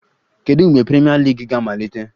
Kedu mgbe Premier League ga-amalite?